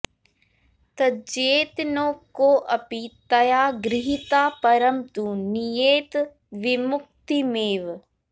त्यजेत नो कोऽपि तया गृहीतः परं तु नीयेत विमुक्तिमेव